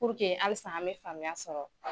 hali sisaa an bɛ faamuya sɔrɔ.